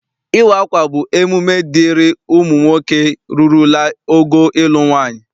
Ịwa akwa bụ emume dịịrị ụmụ nwoke rurula ogo ịlụ nwaanyị.